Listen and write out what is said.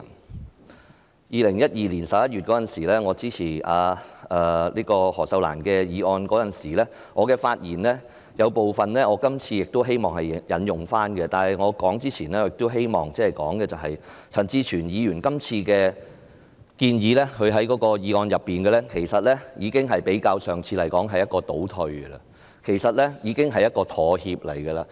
在2012年11月，我支持前議員何秀蘭的議案，我希望在今天的議案發言中，引用我當時發言的部分內容，但在我發言前，希望指出陳志全議員在這項議案所提出的建議，相較上次前議員何秀蘭的議案，是一種倒退和妥協。